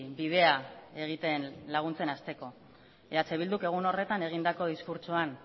bidea egiten laguntzen hasteko eh bilduk egun horretan egindako diskurtsoan